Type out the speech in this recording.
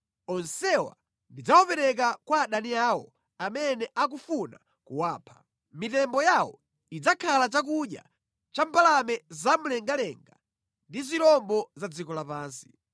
Onsewa ndidzawapereka kwa adani awo amene akufuna kuwapha. Mitembo yawo idzakhala chakudya cha mbalame zamlengalenga ndi zirombo za dziko lapansi.